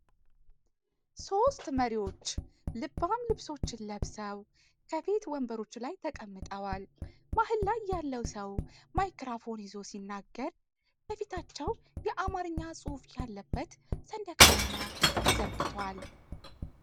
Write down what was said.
ሦስት መሪዎች ልባም ልብሶችን ለብሰው ከፊት ወንበሮች ላይ ተቀምጠዋል። መሃል ላይ ያለው ሰው ማይክሮፎን ይዞ ሲናገር፣ ከፊታቸው የአማርኛ ጽሑፍ ያለበት ሰንደቅ ዓላማ ተዘርግቷል።